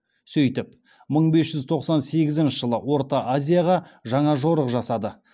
сөйтіп мың бес жүз тоқсан сегізінші жылы орта азияға жаңа жорық жасады